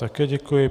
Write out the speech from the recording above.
Také děkuji.